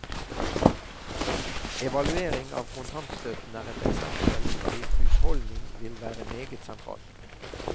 Evaluering av kontantstøtten er et eksempel hvor husholdning vil være meget sentralt.